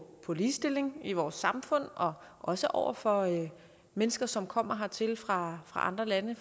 på ligestilling i vores samfund og også over for mennesker som kommer hertil fra andre lande